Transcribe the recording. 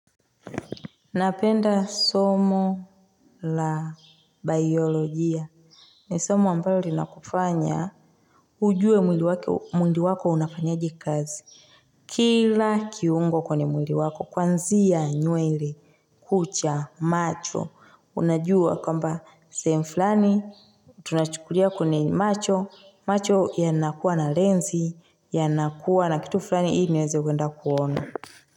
Napenda somo la biolojia. Ni somo ambalo linakufanya. Ujue mwili wako unafanyaje kazi. Kila kiungo kwenye mwili wako. Kuanzia nywele. Kucha. Macho. Unajua kwamba sehemu fulani. Tunachukulia kwenye macho. Macho yanakuwa na lensi. Yanakuwa na kitu flani. Ili niweze kuenda kuonoa.